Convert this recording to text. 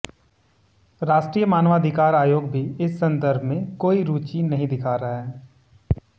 राष्ट्रीय मानवाधिकार आयोग भी इस संदर्भ में कोई रूचि नहीं दिखा रहा है